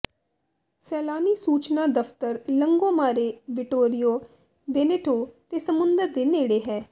ਸੈਲਾਨੀ ਸੂਚਨਾ ਦਫ਼ਤਰ ਲੰਗੋਮਾਰੇ ਵਿਟੋੋਰਿਓ ਵੇਨੇਟੋ ਤੇ ਸਮੁੰਦਰ ਦੇ ਨੇੜੇ ਹੈ